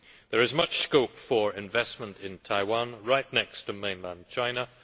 There is much scope for investment in Taiwan, right next to mainland China.